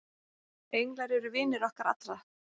englar eru vinir okkar allra